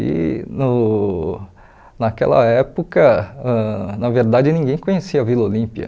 E no naquela época, ãh na verdade, ninguém conhecia a Vila Olímpia.